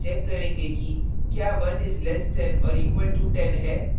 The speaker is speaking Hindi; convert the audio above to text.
यहाँ हम check करेंगे कि क्या 1 is less than or equal to 10 है